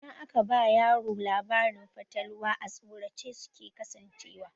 Idan aka ba yaro labarin fatalwa,a tsorace suke kasancewa.